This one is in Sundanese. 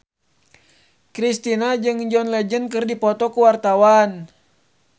Kristina jeung John Legend keur dipoto ku wartawan